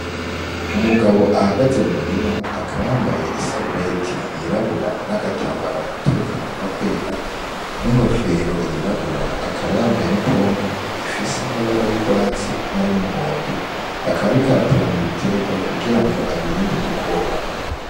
Umugabo ahagaze mu murima akaba yambaye i sarubeti yirabura n'agatambara mu mutwe kagomba kwera n'inkofero yirabura akaba yambaye n'ipompo ifise amabara y'urwatsi n'ay’umuhondo akaba ariko arapompa ibiterwa kugira ngo abirinde udukoko.